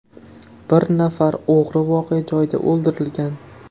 Bir nafar o‘g‘ri voqea joyida o‘ldirilgan.